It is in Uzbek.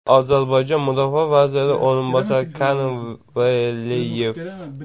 Ozarbayjon mudofaa vaziri o‘rinbosari Kerim Veliyev.